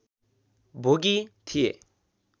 भोगी थिए